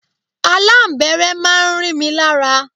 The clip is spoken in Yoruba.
Aláǹbẹ́rẹ́ máa ń rí mi lára.